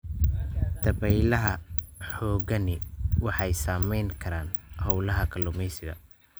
Dabaylaha xooggani waxay saamayn karaan hawlaha kalluumaysiga.